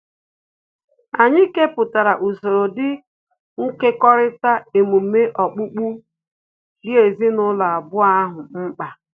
Anyị kepụtara usoro dị nkekọrịta emume okpukpe dị ezinụlọ abụọ ahụ mkpa